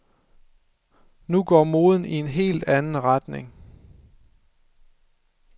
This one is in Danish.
Nu går moden i en helt anden retning.